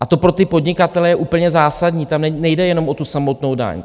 A to pro ty podnikatele je úplně zásadní, tam nejde jenom o tu samotnou daň.